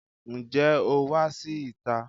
Ǹjẹ́ o wá sí ìta?